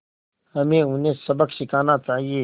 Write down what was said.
हमें उन्हें सबक सिखाना चाहिए